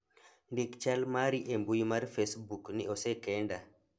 ndik chal mari e mbui mar facebook ni osekenda